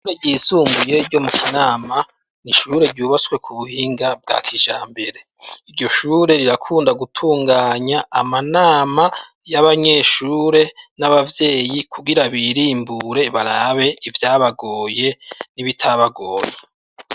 Ishure ryisumuye ryo mu Kinama, ni ishure ryubatswe ku buhinga bwa kijambere, iryo shure rirakunda gutunganya amanama y'abanyeshure n'ababyeyi, kugira birimbure barabe ivyabagoye n'ibitabagoye.